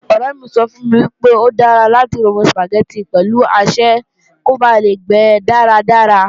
Ọ̀rẹ́ mi sọ fún mi pé, ó dára láti romi Sùpàgẹ́tì pẹ̀lú asẹ́ kó ba lè gbe dáradára